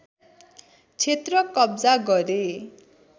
क्षेत्र कब्जा गरे